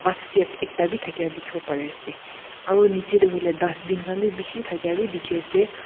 sket ekta bi thakia dikhibo parie ase aro niche te hoile dustbin khan bi bishi thakia bi dikhi ase.